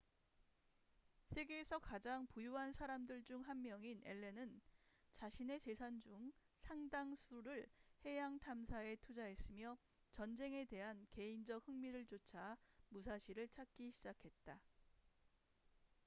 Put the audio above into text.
세계에서 가장 부유한 사람들 중 한 명인 앨런은 자신의 재산 중 상당수를 해양 탐사에 투자했으며 전쟁에 대한 개인적 흥미를 쫒아 무사시를 찾기 시작했다